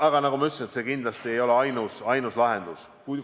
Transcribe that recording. Aga nagu ma ütlesin, see ei ole kindlasti ainus lahendus.